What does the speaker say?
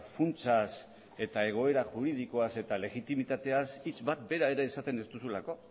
funtsaz egoera juridikoaz eta legitimitateaz hitz bat bera ere esaten ez duzulako